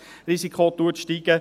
Das Resistenzrisiko steigt.